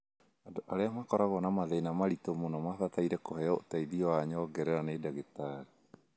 Andũ arĩa makoragwo na mathĩna maritũ no mabatare kũheo ũteithio wa nyongerera nĩ ndagĩtarĩ.